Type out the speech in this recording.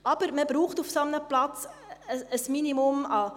Allerdings braucht man auf einem solchen Platz ein Minimum.